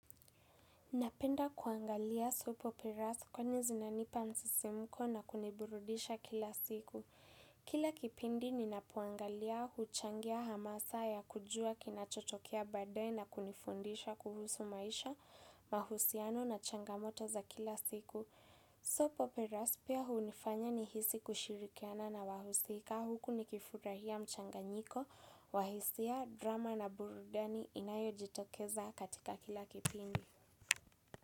Napenda kuangalia soap operas kwani zinanipa msisimko na kuniburudisha kila siku. Kila kipindi ninapoangalia huchangia hamasa ya kujua kinachotokea baadae na kunifundisha kuhusu maisha, mahusiano na changamoto za kila siku. Kila kipindi ninapoangalia huchangia hamasa ya kujua kinachotokea badae na kunifundisha kuhusu maisha, mahusiano na changamoto za kila siku.